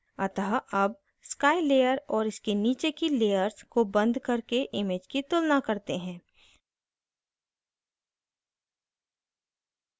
अतः अब sky layer और इसके नीचे की layers को बंद करके image की तुलना करते हैं